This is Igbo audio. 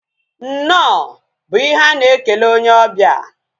Nnọọ bụ ihe a na-ekele onye obia